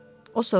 O soruşdu.